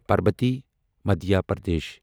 Parbati Madhya Pradesh